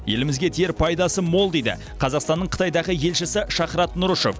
елімізге тиер пайдасы мол дейді қазақстанның қытайдағы елшісі шахрат нұрышев